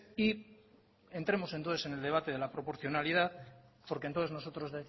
y entremos entonces en el debate de la proporcionalidad porque entonces nosotros